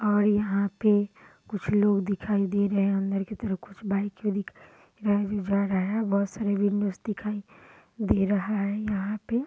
और यहाँ पर कुछ लोग दिखाई दे रहे हैं अंदर की तरफ कुछ बाइक दिखाई दे रहे है जो उजर है बहुत सारी विंडोस दिखाई दे रहा है यहाँ पे।